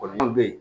Kɔlɔlɔ bɛ yen